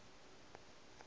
a le mo o a